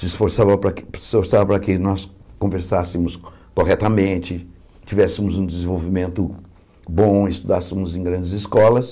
se esforçava para que se esforçava para que nós conversássemos corretamente, tivéssemos um desenvolvimento bom, estudássemos em grandes escolas.